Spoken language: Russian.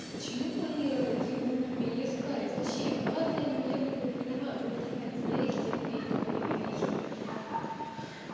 почему мои родаки будут меня искать зачем ну ладно они меня любят понимаю но блядь я их терпеть тупо не навижу